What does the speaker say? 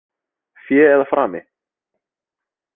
Fé eða frami?